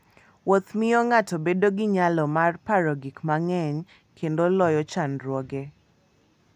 Wuotho miyo ng'ato bedo gi nyalo mar paro gik manyien kendo loyo chandruoge.